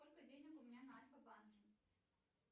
сколько денег у меня на альфа банке